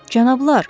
Cənablar.